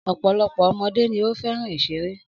Ọ̀pọ̀lọpọ̀ ọmọdé ni ó fẹ́ràn ìṣeré.